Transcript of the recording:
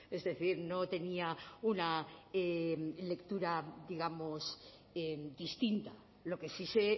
es decir no tenía una lectura digamos distinta lo que sí sé